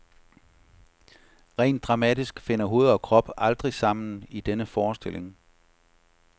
Rent dramatisk finder hoved og krop aldrig sammen i denne forestilling.